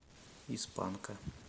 из панка